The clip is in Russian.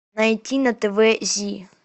найти на тв зи